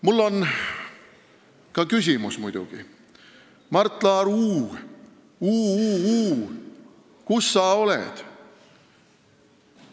Mul on muidugi ka küsimus: Mart Laar, uu-uu-uu, kus sa oled?